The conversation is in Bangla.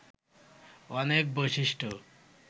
অনেক বৈশিষ্ট্য